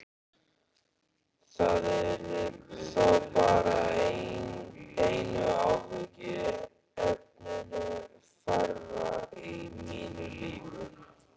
Það yrði þá bara einu áhyggjuefninu færra í mínu lífi.